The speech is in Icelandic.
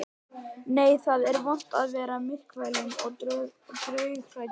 Nei, það er vont að vera myrkfælinn og draughræddur.